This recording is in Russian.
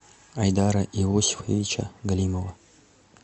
айдара иосифовича галимова